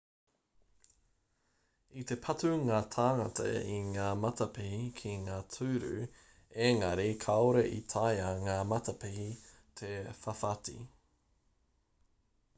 i te patu ngā tāngata i ngā matapihi ki ngā tūru engari kāore i taea ngā matapihi te whawhati